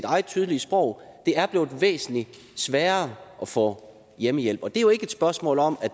eget tydelige sprog det er blevet væsentlig sværere at få hjemmehjælp og det er jo ikke et spørgsmål om